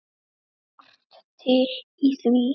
Margt til í því.